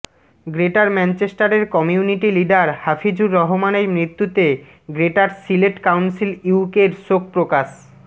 greater ম্যানচেস্টারের community leader Hafizur রহমানের মৃত্যুতে গ্রেটার সিলেট কাউন্সিল ইউকের শোক প্রকাশ